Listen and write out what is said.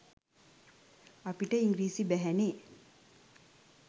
අපිට ඉංග්‍රීසි බැහැනෙ